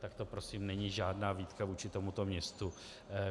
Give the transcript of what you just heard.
Tak to prosím není žádná výtka vůči tomuto městu.